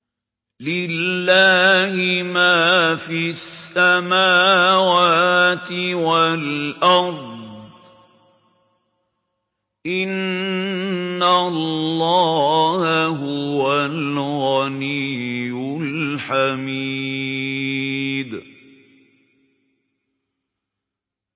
لِلَّهِ مَا فِي السَّمَاوَاتِ وَالْأَرْضِ ۚ إِنَّ اللَّهَ هُوَ الْغَنِيُّ الْحَمِيدُ